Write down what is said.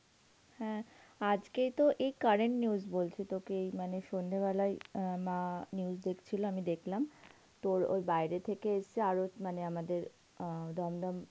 হ্যাঁ, আজকে তো এই curent news বলছি তোকে এই মানে সন্ধ্যে বেলায় অ্যাঁ মা news দেখছিল আমি দেখলাম তোর ওই বাইরে থেকে এসছে আরো মানে অ্যাঁ দমদম